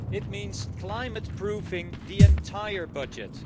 It means climate proofing the entire budget.